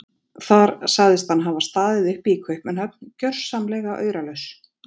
Þar sagðist hann hafa staðið uppi í Kaupmannahöfn gjörsamlega auralaus.